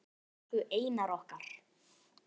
Elsku Einar okkar.